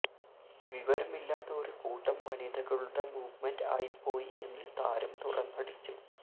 വിവരമില്ലാത്ത ഒരു കൂട്ടം വനിതകളുടെ മൂവ്മെന്റ് ആയിപ്പോയി എന്ന് താരം തുറന്നടിച്ചു